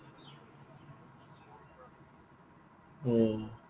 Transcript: অ।